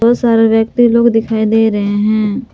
बहुत सारे व्यक्ति लोग दिखाई दे रहे हैं।